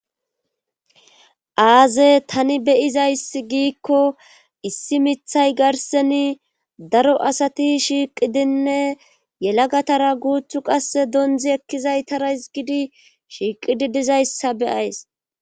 aaze tani beyizayssi giikko issi mithay garseni daro asati shiiqidinne yelagatara guuthu qasse dondzi ekkizaytara hizgidi shiiqidi dizayssa beyays